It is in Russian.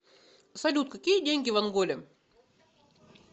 салют какие деньги в анголе